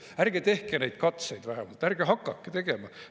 Ärge tehke neid katseid vähemalt, ärge hakake tegema!